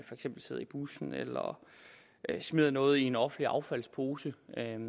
eksempel sidder i bussen eller smider noget i en offentlig affaldspose